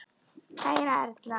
Kæra Erla.